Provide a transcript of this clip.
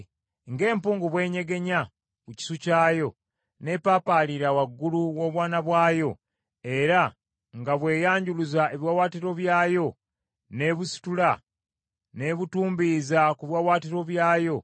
Ng’empungu bw’enyegenya ku kisu kyayo, n’epaapaalira waggulu w’obwana bwayo, era nga bw’eyanjuluza ebiwaawaatiro byayo, n’ebusitula, n’ebutumbiiza ku biwaawaatiro byayo,